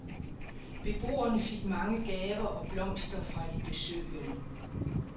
Beboerne fik mange gaver og blomster fra de besøgende.